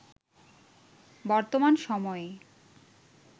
বর্তমান সময়ে